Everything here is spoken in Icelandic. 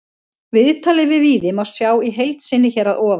Viðtalið við Víði má sjá í heild sinni hér að ofan.